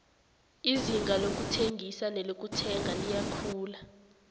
izinga lokuthengisa nelokuthenga liyakhula